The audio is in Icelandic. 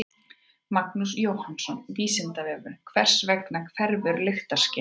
Magnús Jóhannsson: Vísindavefurinn: Hvers vegna hverfur lyktarskynið?